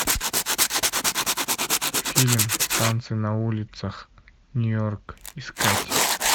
фильм танцы на улицах нью йорк искать